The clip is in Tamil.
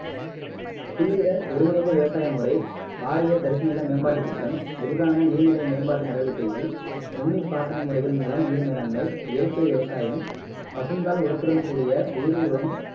தீவிர ஒருங்கிணைந்த விவசாய முறை பாரிய தரிசு நில மேம்பாட்டு திட்டம் விரிவான நீர்நிலை மேம்பாட்டு நடவடிக்கைகள் நுண்ணுயிர் பாசன முறைகள் மூலம் நீர் மேலாண்மை இயற்கை விவசாயம் பசுந்தாழ் உரத்துடன் கூடிய உயிர் உரம்